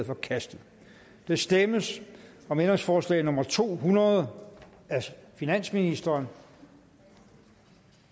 forkastet der stemmes om ændringsforslag nummer to hundrede af finansministeren